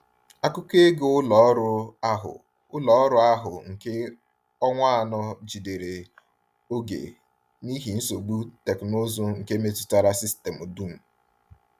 Akụkọ ego ụlọ ọrụ ahụ ụlọ ọrụ ahụ nke ọnwa anọ jidere oge n’ihi nsogbu teknụzụ nke metụtara sistemụ dum.